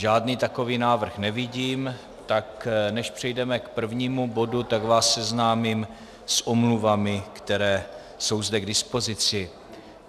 Žádný takový návrh nevidím, tak než přejdeme k prvnímu bodu, tak vás seznámím s omluvami, které jsou zde k dispozici.